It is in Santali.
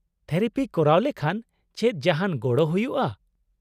-ᱛᱷᱮᱨᱟᱯᱤ ᱠᱚᱨᱟᱣ ᱞᱮᱠᱷᱟᱱ ᱪᱮᱫ ᱡᱟᱦᱟᱱ ᱜᱚᱲᱚ ᱦᱩᱭᱩᱜᱼᱟ ?